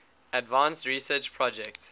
advanced research projects